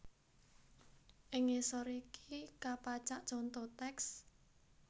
Ing ngisor iki kapacak conto tèks